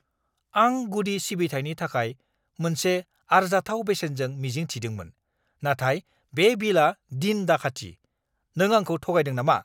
आं गुदि सिबिथाइनि थाखाय मोनसे आरजाथाव बेसेनखौ मिजिं थिदोंमोन, नाथाय बे बिलआ दिन दाखाथि! नों आंखौ थगायदों नामा?